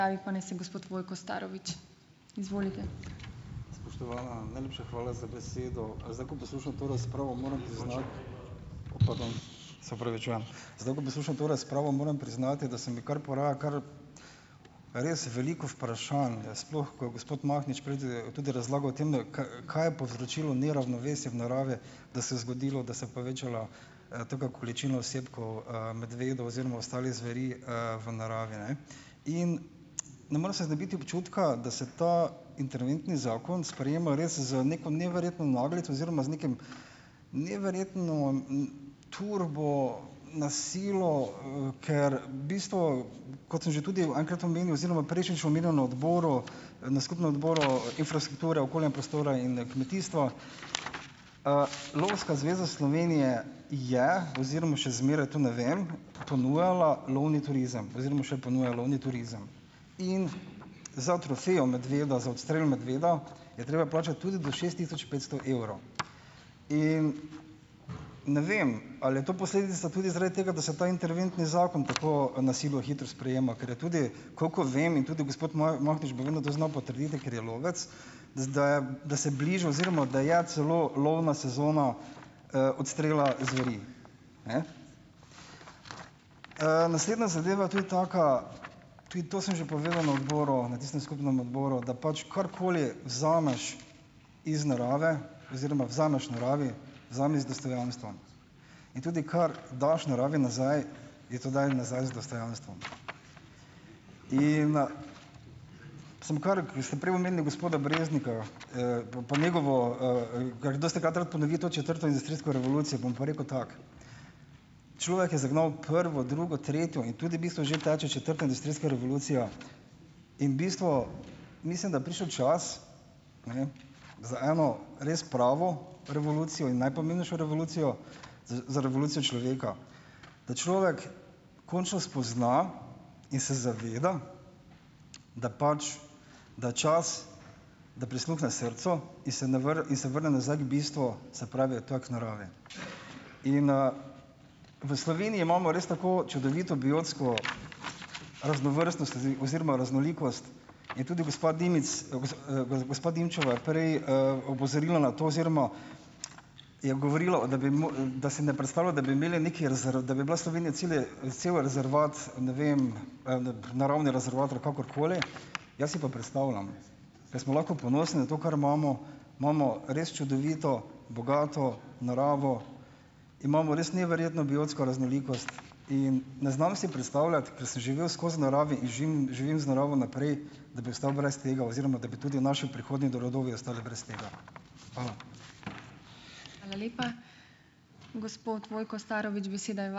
Spoštovana, najlepša hvala za besedo! Zdaj, ko poslušam to razpravo, moram priznati, o, pardon. Se opravičujem. Zdaj, ko poslušam to razpravo, moram priznati da se mi kar poraja, kar res veliko vprašanj, sploh ko je gospod Mahnič prej tudi tudi razlagal o tem, da kaj je povzročilo neravnovesje v naravi, da se je zgodilo, da se je povečala, taka količina osebkov, medvedov oziroma ostalih zveri, v naravi, ne. In ne morem se znebiti občutka, da se ta interventni zakon sprejema res z neko neverjetno naglico oziroma z nekim neverjetno, turbo, na silo, ker v bistvu, kot sem že tudi enkrat omenil, oziroma prejšnjič omenil na odboru, na skupnem Odboru infrastrukture, okolja in prostora in kmetijstva, Lovska zveza Slovenije, je oziroma še zmeraj, to ne vem, ponujala lovni turizem oziroma še ponuja lovni turizem. In za trofejo medveda, za odstrel medveda, je treba plačati tudi do šest tisoč petsto evrov. In ne vem, ali je to posledica tudi zaradi tega, da se ta interventni zakon tako na silo hitro sprejema, ker je tudi, koliko vem in tudi gospod Mahnič bo verjetno to znal potrditi, ker je lovec, da se bliža oziroma da je celo lovna sezona, odstrela zveri. Naslednja zadeva je tudi taka, tudi to sem že povedal na odboru, na tistem skupnem odboru. Da pač karkoli vzameš iz narave oziroma vzameš naravi, vzemi z dostojanstvom. In tudi kar daš naravi nazaj, ji to daj nazaj z dostojanstvom. In sem kar, ko ste prej omenili gospoda Breznika, bom po njegovo ... ker dostikrat rad ponovi to četrto industrijsko revolucijo, bom pa rekel tako. Človek je zagnal prvo, drugo, tretje in tudi v bistvu že teče četrta industrijska revolucija in bistvu, mislim, da je prišel čas za eno res pravo revolucijo in najpomembnejšo revolucijo. za na revolucijo človeka. Da človek končno spozna in se zaveda, da pač, da je čas, da prisluhne srcu in se ne in se vrne nazaj k bistvu, se pravi, to je k naravi. In, v Sloveniji imamo res tako čudovito biotsko raznovrstnost oziroma raznolikost in tudi gospa Dimic gospa Dimčeva je prej, opozorila na to, oziroma je govorila o da bi da si ne predstavlja, da bi imeli nekaj ... da bi bila Slovenija celi cel rezervat, ne vem, naravni rezervat ali karkoli. Jaz si pa predstavljam. Ker smo lahko ponosni na to, kar imamo. Imamo res čudovito, bogato naravo. Imamo res neverjetno biotsko raznolikost in ne znam si predstavljati, ker sem živel skozi v naravi in živim z naravo naprej, da bi ostal brez tega oziroma da bi tudi naši prihodnji rodovi ostali brez tega. Hvala.